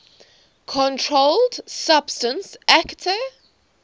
controlled substances acte